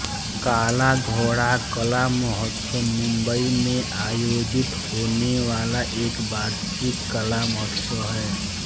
काला घोड़ा कला महोत्सव मुंबई में आयोजित होने वाला एक वार्षिक कला महोत्सव हैं